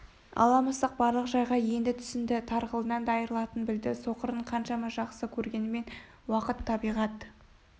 ала мысық барлық жайға енді түсінді тарғылынан да айрылатынын білді соқырын қаншама жақсы көргенімен уақыт табиғат